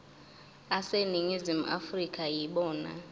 aseningizimu afrika yibona